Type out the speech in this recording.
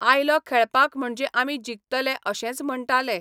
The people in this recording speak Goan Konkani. आयलो खेळपाक म्हणजे आमी जिकतले अशेंच म्हणटाले.